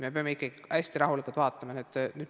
Me peame ikkagi hästi rahulikult vaatama.